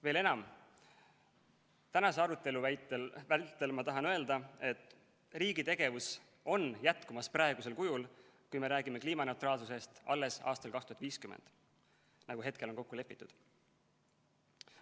Veel enam: tänase arutelu vältel ma tahan öelda, et riigi tegevus on jätkumas praegusel kujul, kui me räägime kliimaneutraalsusest alles aastal 2050, nagu hetkel on kokku lepitud.